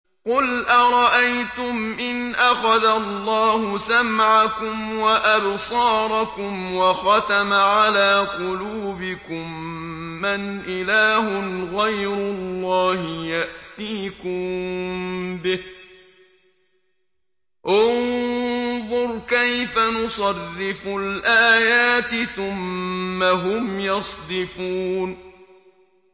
قُلْ أَرَأَيْتُمْ إِنْ أَخَذَ اللَّهُ سَمْعَكُمْ وَأَبْصَارَكُمْ وَخَتَمَ عَلَىٰ قُلُوبِكُم مَّنْ إِلَٰهٌ غَيْرُ اللَّهِ يَأْتِيكُم بِهِ ۗ انظُرْ كَيْفَ نُصَرِّفُ الْآيَاتِ ثُمَّ هُمْ يَصْدِفُونَ